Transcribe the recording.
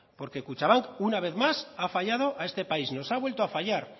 porque kutxabank ha fallado a este país nos ha vuelto a fallar